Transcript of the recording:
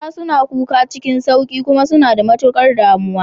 Mata suna kuka cikin sauƙi kuma suna da matukar damuwa.